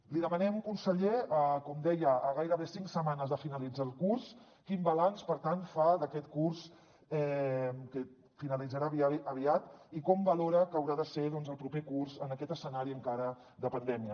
li demanem conseller com deia a gairebé cinc setmanes de finalitzar el curs quin balanç per tant fa d’aquest curs que finalitzarà aviat i com valora què haurà de ser el proper curs en aquest escenari encara de pandèmia